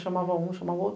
Chamava um, chamava outro.